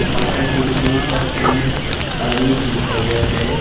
बाटा के ऊपर M S series लिखा हुआ है।